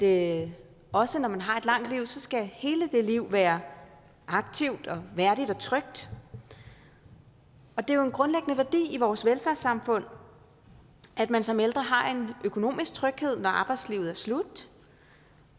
er at også når man har et langt liv skal hele det liv være aktivt og værdigt og trygt og det er jo en grundlæggende værdi i vores velfærdssamfund at man som ældre har en økonomisk tryghed når arbejdslivet er slut